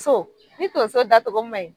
So ni tonso da togo ma ɲi